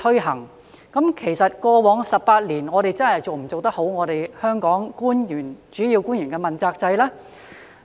可是，在過去的18年，政府有否認真執行主要官員問責制呢？